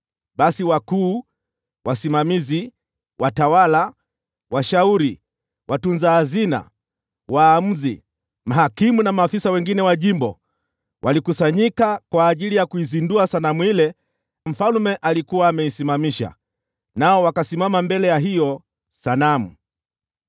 Basi wakuu, wasimamizi, watawala, washauri, watunza hazina, waamuzi, mahakimu na maafisa wengine wa jimbo walikusanyika ili kuizindua sanamu ile Mfalme Nebukadneza alikuwa ameisimamisha, nao wakasimama mbele ya hiyo sanamu.